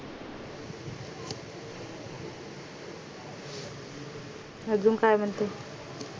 अजून काय म्हणते